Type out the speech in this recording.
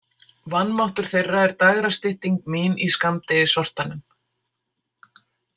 Vanmáttur þeirra er dægrastytting mín í skammdegissortanum.